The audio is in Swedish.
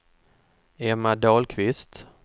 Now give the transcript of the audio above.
Emma Dahlqvist